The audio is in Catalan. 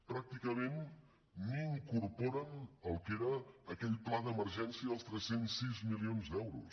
pràcticament ni incorporen el que era aquell pla d’emergència dels tres cents i sis milions d’euros